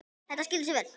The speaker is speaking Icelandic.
Þetta skilar sér vel.